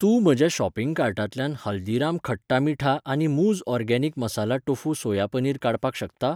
तूं म्हज्या शॉपिंग कार्टांतल्यान हल्दीराम खट्टा मीठा आनी मूझ organic masala tofu soya paneer काडपाक शकता?